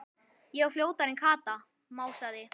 Ég var fljótari en Kata, másaði